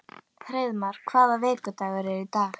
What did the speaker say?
Hreiðmar, hvaða vikudagur er í dag?